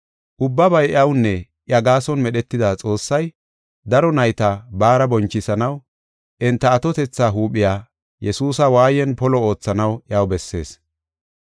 Ubbabay iyawunne iya gaason medhetida Xoossay, daro nayta baara bonchisanaw enta atotetha huuphiya, Yesuusa waayen polo oothanaw iyaw bessees.